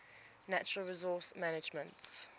natural resource management